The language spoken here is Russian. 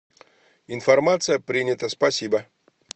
информация принята спасибо